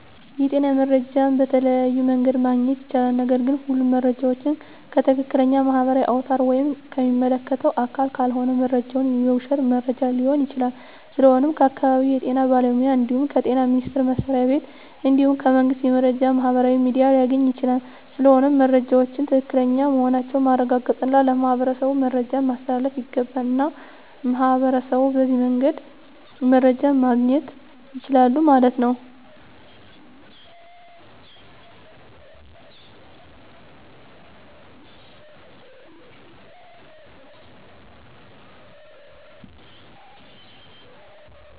የጤና መረጃ በተለያዮ መንገድ ማግኘት ይቻላል ነገርግ ሁሉም መረጃ ዎችን ከትክለኛ ማህበራዊ አውታር ወይም ከሚመለከተው አካል ካልሆነ መረጃው የውሽት መረጃ ሊሆን ይችላል ስለሆነም ከአካባቢው የጤና ባለሙያ እንድሁም ከጤና ሚኒስተር መስሪያ ቤት እንድሁም ከመንግስት የመረጃ ማህበራዊ ሚዲያ ሊገኝ ይቻላል ስለሆነም መረጃወች ትክክለኛ መሆናቸውን ማረጋገጥ እና ለማህበረሠቡ መረጃን ማስተላለፍ ይገባል። እና ሚህበረሸቡ በዚህ መንገድ መረጃ ማገኘት ይችላሉ ማለት ነው